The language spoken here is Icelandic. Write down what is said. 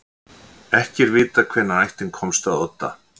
Ekki er vitað hvenær ættin komst að Odda.